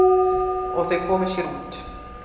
Og þau komu sér út.